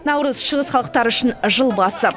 наурыз шығыс халықтары үшін жыл басы